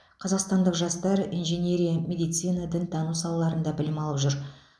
қазақстандық жастар инженерия медицина дінтану салаларында білім алып жүр